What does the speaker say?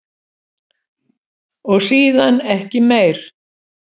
Og síðan ekki meir?